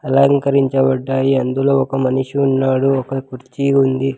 అలంకరించబడ్డాయి అందులో ఒక మనిషి ఉన్నాడు ఒక కుర్చీ ఉంది.